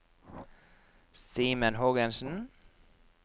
Simen Hågensen